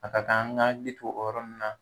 A ka kan an k'an hakili to o yɔrɔni nunnu na na